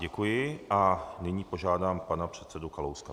Děkuji a nyní požádám pana předsedu Kalouska.